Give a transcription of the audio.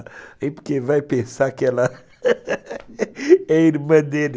Porque vai pensar que ela é irmã dele.